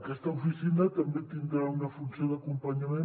aquesta oficina també tindrà una funció d’acompanyament